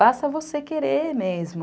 Basta você querer mesmo.